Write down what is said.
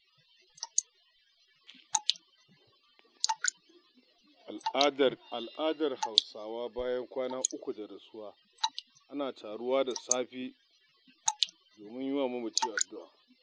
A al'adar Hausawa bayan kwana 3 da rasuwa ana taruwa da safe domin yiwa mamaci addu'a